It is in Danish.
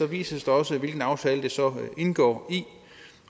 vises det også hvilken aftale det så indgår i